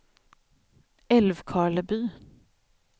Älvkarleby